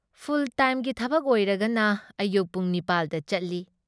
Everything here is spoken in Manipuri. ꯐꯨꯜ ꯇꯥꯏꯝꯒꯤ ꯊꯕꯛ ꯑꯣꯏꯔꯒꯅ ꯑꯌꯨꯛ ꯄꯨꯡ ꯅꯤꯄꯥꯜ ꯗ ꯆꯠꯂꯤ,